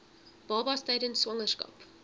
babas tydens swangerskap